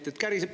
Käriseb!